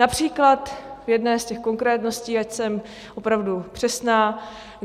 Například v jedné z těch konkrétností, ať jsem opravdu přesná.